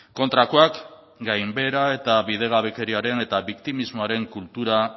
kontrakoak gainbehera eta bidegabekeriaren eta biktimismoaren kultura